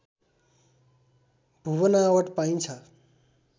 भूबनावट पाइन्छ